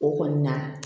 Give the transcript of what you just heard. O kɔni na